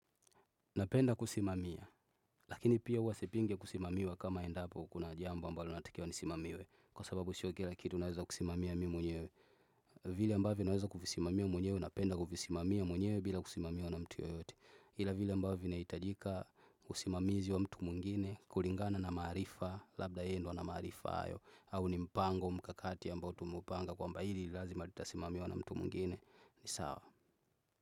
Napenda kusimamia, lakini pia huwa sipingi kusimamiwa kama endapo kuna jambo ambalo natakiwa nisimamiwe Kwa sababu sio kila kitu naweza kusimamia mimi mwenyewe vile ambavyo naweza kuvisimamia mwenyewe, napenda kuvisimamia mwenyewe bila kusimamiwa na mtu yoyote ila vile ambavyo vinahitajika kusimamizi wa mtu mwingine, kulingana na maarifa, labda yeyendo ana maarifa hayo au ni mpango mkakati ambao tumeupanga kwamba hili nilazima litasimamiwa na mtu mwingine, ni sawa.